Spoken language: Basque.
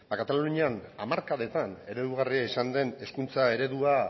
katalunian hamarkadetan eredugarria izan den hezkuntza eredua